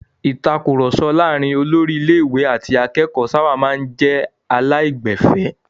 Ìtakùrọ̀sọ láàárin olórí ilé-ìwé àti akẹ́kọ̀ọ́ sábà máa ń jẹ́ aláìgbẹ̀fẹ̀.